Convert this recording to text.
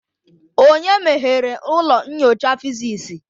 Onye meghere ụlọ nyocha physics.?